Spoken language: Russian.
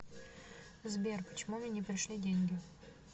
сбер почему мне не пришли деньги